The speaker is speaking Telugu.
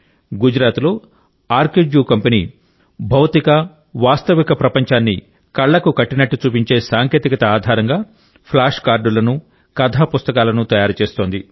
గుజరాత్లో ఆర్కిడ్జూ కంపెనీ భౌతిక వాస్తవిక ప్రపంచాన్ని కళ్లకు కట్టినట్టు చూపించే సాంకేతికత ఆధారిత ఫ్లాష్ కార్డులను కథాపుస్తకాలను తయారు చేస్తోంది